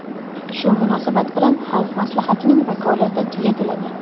Shu munosabat bilan Xalq Maslahatining vakolati tugatiladi.